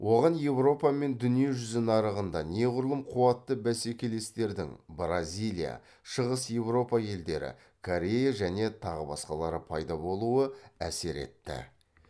оған еуропа мен дүние жүзі нарығында неғұрлым қуатты бәсекелестердің бразилия шығыс еуропа елдері корея және тағы басқалары пайда болуы әсер етті